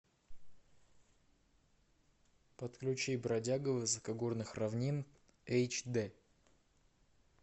подключи бродяга высокогорных равнин эйч д